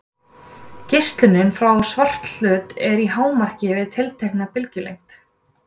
Geislunin frá svarthlut er í hámarki við tiltekna bylgjulengd.